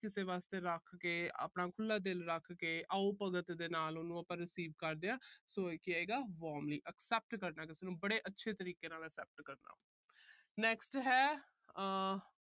ਕਿਸੇ ਵਾਸਤੇ ਰੱਖਕੇ, ਆਪਣਾ ਖੁੱਲ੍ਹਾ ਦਿਲ ਰੱਖ ਕੇ, ਆਓ-ਭਗਤ ਦੇ ਨਾਲ ਉਹਨੂੰ ਆਪਾ receive ਕਰਦੇ ਆ। so ਇਹ ਕੀ ਆਏਗਾ warmly accept ਕਰਨਾ ਕਿਸੇ ਨੂੰ, ਬੜੇ ਅੱਛੇ ਤਰੀਕੇ ਨਾਲ accept ਕਰਨਾ। next ਹੈ ਆਹ